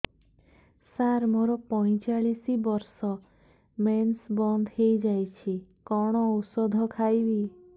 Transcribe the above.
ସାର ମୋର ପଞ୍ଚଚାଳିଶି ବର୍ଷ ମେନ୍ସେସ ବନ୍ଦ ହେଇଯାଇଛି କଣ ଓଷଦ ଖାଇବି